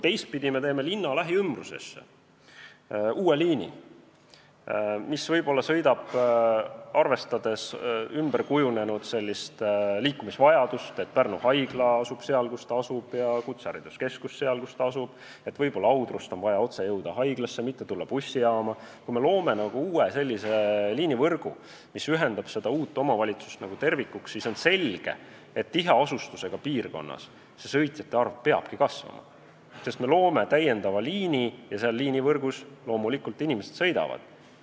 Teistpidi, kui me teeme linna lähiümbrusesse uue liini, mis võib-olla arvestab ümberkujunenud liikumisvajadust – seda, et Pärnu haigla asub seal, kus ta asub, ja kutsehariduskeskus seal, kus ta asub, ja seda, et võib-olla oleks Audrust vaja otse jõuda haiglasse, mitte tulla bussijaama –, kui me loome uue liinivõrgu, mis ühendab seda uut omavalitsust kui tervikut, siis on selge, et tiheasustusega piirkonnas sõitjate arv peabki kasvama, sest me loome lisaliini ja seal inimesed sõidavad.